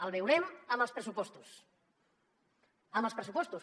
el veurem en els pressupostos en els pressupostos